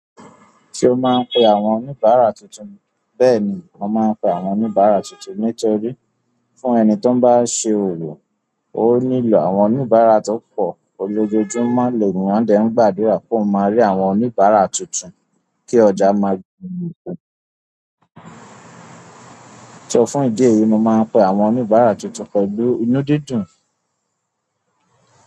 Ṣé o máa ń pe àwọn oníbàárà tuntun? Bẹ́ẹ̀ni mo máa n pẹ àwọn oníbárà tuntun. Nítorí fún ẹni tó bá ṣe òrò, ó nílò àwọn oníbàárà tó pọ̀. Ojojúmọ́ l'eniyan dẹ̀ ń gbàdúrà kí ó máa rí àwọn oníbàárà tuntun kí ọjà máa. So, fún ìdí èyí tí mo máa ń pe àwọn oníbàárà túntùn pẹ̀lú ìnu dídún.